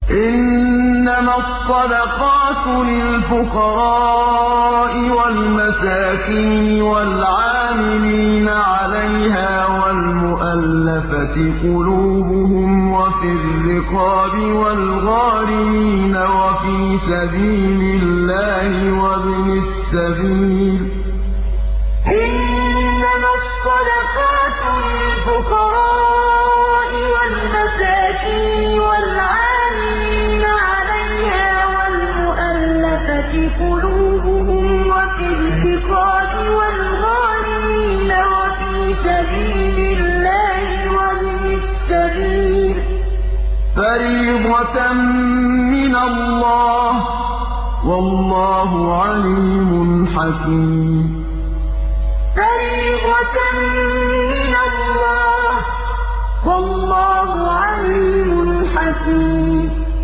۞ إِنَّمَا الصَّدَقَاتُ لِلْفُقَرَاءِ وَالْمَسَاكِينِ وَالْعَامِلِينَ عَلَيْهَا وَالْمُؤَلَّفَةِ قُلُوبُهُمْ وَفِي الرِّقَابِ وَالْغَارِمِينَ وَفِي سَبِيلِ اللَّهِ وَابْنِ السَّبِيلِ ۖ فَرِيضَةً مِّنَ اللَّهِ ۗ وَاللَّهُ عَلِيمٌ حَكِيمٌ ۞ إِنَّمَا الصَّدَقَاتُ لِلْفُقَرَاءِ وَالْمَسَاكِينِ وَالْعَامِلِينَ عَلَيْهَا وَالْمُؤَلَّفَةِ قُلُوبُهُمْ وَفِي الرِّقَابِ وَالْغَارِمِينَ وَفِي سَبِيلِ اللَّهِ وَابْنِ السَّبِيلِ ۖ فَرِيضَةً مِّنَ اللَّهِ ۗ وَاللَّهُ عَلِيمٌ حَكِيمٌ